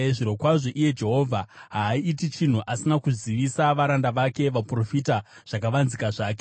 Zvirokwazvo, Ishe Jehovha haaiti chinhu asina kuzivisa varanda vake, vaprofita, zvakavanzika zvake.